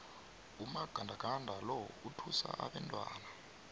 umagandaganda lo uthusa abantwana